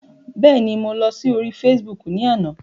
Bẹ́ẹ̀ ni, mo lọ sí orí Facebook ni àná.